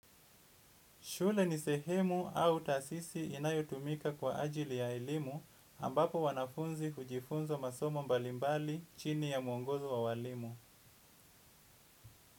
Shule ni sehemu au taasisi inayotumika kwa ajili ya elimu, ambapo wanafunzi hujifunza masomo mbalimbali chini ya mwongozo wa walimu.